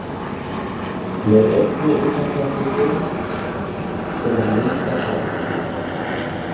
Með einni undantekningu sem er Linda sjálf.